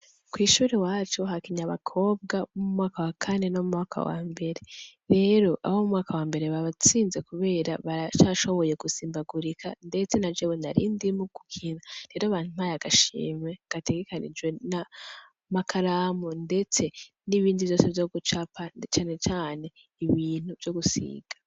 Kw’ishuri iwacu hakinye abakobwa bo mumwaka wakane no mumwaka wambere. Rero , abo mumwaka wambere babatsinze kubera bacashonoye gusimbagurika ndetse najewe nari ndimwo gukina. Rero bampaye agashimwe gategekanijwe , nkamakaramu ndetse ,nibindi vyose vyo gucapa na cane cane ibintu vyo gusiga.